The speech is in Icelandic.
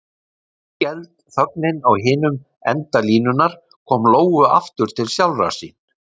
Skelfd þögnin á hinum enda línunnar kom Lóu aftur til sjálfrar sín.